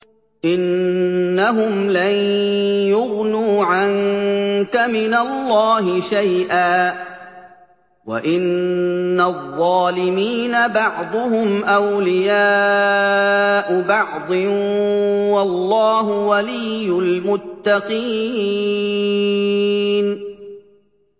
إِنَّهُمْ لَن يُغْنُوا عَنكَ مِنَ اللَّهِ شَيْئًا ۚ وَإِنَّ الظَّالِمِينَ بَعْضُهُمْ أَوْلِيَاءُ بَعْضٍ ۖ وَاللَّهُ وَلِيُّ الْمُتَّقِينَ